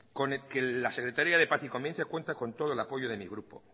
con la secretaría de paz y convivencia cuenta con todo el apoyo de mi grupo